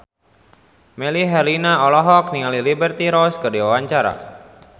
Melly Herlina olohok ningali Liberty Ross keur diwawancara